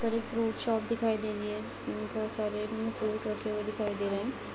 fruit shop दिखाई दे रही है उसमे बहुत सारे फ्रूट रखे हुए दिखाई दे रहे हैं |